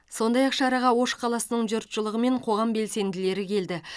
сондай ақ шараға ош қаласының жұртшылығы мен қоғам белсенділері келді